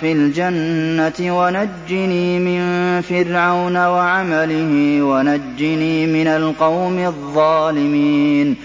فِي الْجَنَّةِ وَنَجِّنِي مِن فِرْعَوْنَ وَعَمَلِهِ وَنَجِّنِي مِنَ الْقَوْمِ الظَّالِمِينَ